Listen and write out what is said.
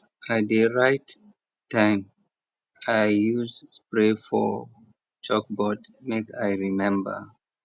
i dey write time wey i use spray for chalkboard make i remember